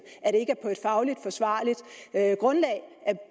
og et fagligt forsvarligt grundlag at